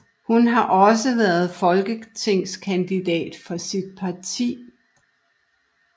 Hun har også været folketingskandidat for sit parti